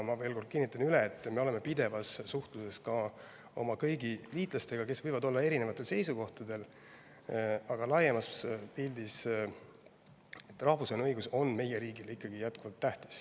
Ma veel kord kinnitan, et me oleme pidevas suhtluses kõigi oma liitlastega, kes võivad küll olla erinevatel seisukohtadel, aga laiemas pildis on rahvusvaheline õigus meie riigile ikkagi jätkuvalt tähtis.